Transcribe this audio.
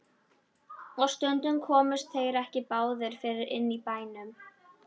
Og stundum komust þeir ekki báðir fyrir inni í bænum.